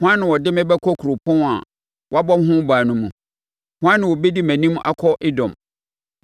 Hwan na ɔde me bɛkɔ kuropɔn a wɔabɔ ho ban no mu? Hwan na ɔbɛdi mʼanim akɔ Edom?